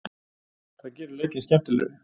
Það gerir leikinn skemmtilegri.